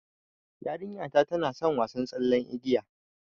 Yarinta tana son wasa tsallen igiya